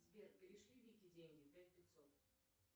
сбер перешли вике деньги пять пятьсот